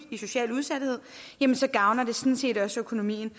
social udsathed så gavner det sådan set også økonomien